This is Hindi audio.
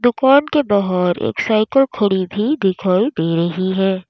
दुकान के बाहर एक साइकिल खड़ी भी दिखाई दे रही है।